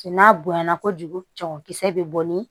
Cɛ n'a bonyana kojugu cɛmankisɛ bɛ bɔ ni